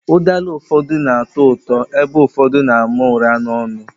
Ụdala ụfọdụ na atọ ụtọ, ebe ụfọdụ na àmà ụra n'onu